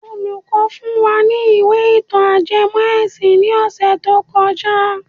Olùkọ́ fún wa ní ìwé ìtàn ajẹmọ́ ẹ̀sìn ní ọ̀sẹ̀ tó kọjá.